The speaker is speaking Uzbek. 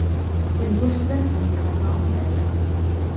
Til go‘shtidan antiqa taom tayyorlaymiz.